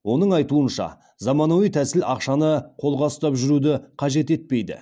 оның айтуынша заманауи тәсіл ақшаны қолға ұстап жүруді қажет етпейді